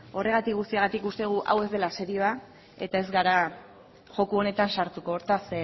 horregatik guztiagatik uste dugu hau ez dela serioa eta ez gara joko honetan sartuko hortaz